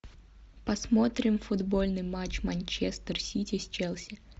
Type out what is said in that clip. посмотрим футбольный матч манчестер сити с челси